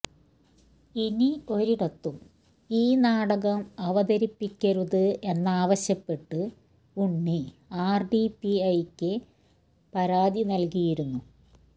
ഇനി ഒരിടത്തും ഈ നാടകം അവതരിപ്പിക്കരുത് എന്നാവശ്യപ്പെട്ട് ഉണ്ണി ആർ ഡിപിഐ ക്ക് പരാതി നൽകിയിരുന്നു